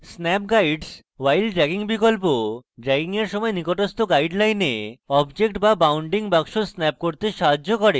snap guides while dragging বিকল্প dragging এর সময় nearest guidelines objects বা bounding box snap করতে সাহায্য করে